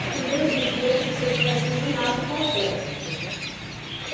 A Febem exigia que você tivesse o ginásio completo.